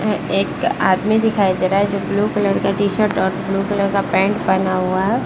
एक आदमी दिखाई दे रहा है जो ब्लू कलर का टी-शर्ट और ब्लू कलर का पेंट पहना हुआ है।